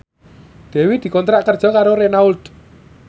Dewi dikontrak kerja karo Renault